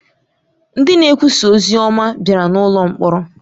Ndị na-ekwusa ozi ọma bịara n’ụlọ mkpọrọ.